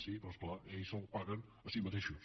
sí però és clar ells se’l paguen a si mateixos